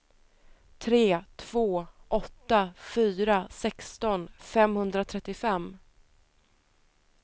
tre två åtta fyra sexton femhundratrettiofem